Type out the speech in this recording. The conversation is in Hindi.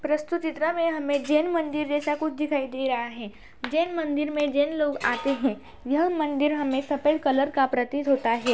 प्रस्तुत चित्र मे हमें जैन मंदिर जैसा कुछ दिखाई दे रहा है। जैन मंदिर में जैन लोग आते हैं । यह मंदिर हमें सफ़ेद कलर का प्रतीत होता है।